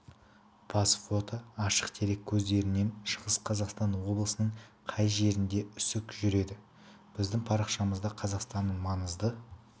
бас фото ашық дерек көздерінен шығыс қазақстан облысының кей жерлерінде үсік жүреді біздің парақшамызда қазақстанның маңызды